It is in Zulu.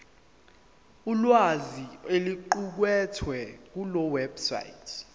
ulwazi oluqukethwe kulewebsite